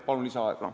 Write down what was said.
Palun lisaaega!